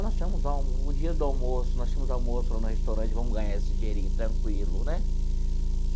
Nós tínhamos o dinheiro do almoço, nós tínhamos almoço lá no restaurante, vamos ganhar esse dinheirinho tranquilo, né?